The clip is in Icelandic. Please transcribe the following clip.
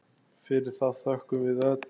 Fyrir það þökkum við öll.